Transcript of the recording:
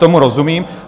Tomu rozumím.